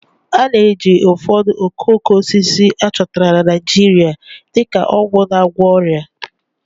A na-eji ụfọdụ okooko osisi a chọtara na Naijiria dị ka ọgwụ na-agwọ ọrịa